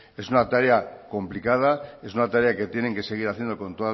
es una tarea complicada es una tarea que tienen que seguir haciendo con